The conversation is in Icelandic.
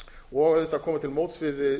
og auðvitað komið til móts við